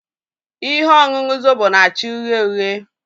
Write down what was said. Ihe ọṅụṅụ Zobo na-acha uhie uhie.